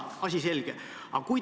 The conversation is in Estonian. Asi selge!